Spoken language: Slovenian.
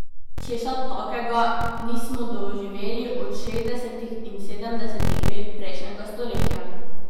Česa takega nismo doživeli od šestdesetih in sedemdesetih let prejšnjega stoletja.